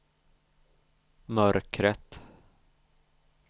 mörkret